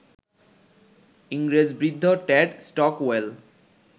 ইংরেজ বৃদ্ধ Ted Stockwell